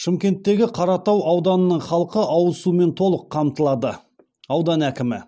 шымкенттегі қаратау ауданының халқы ауыз сумен толық қамтылады аудан әкімі